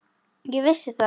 Ég vissi það.